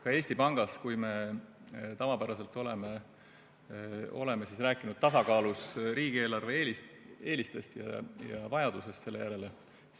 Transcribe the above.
Ka Eesti Pangas me oleme tavapäraselt rääkinud tasakaalus riigieelarve eelistest ja vajadusest selle järele.